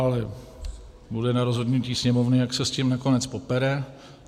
Ale bude na rozhodnutí Sněmovny, jak se s tím nakonec popere.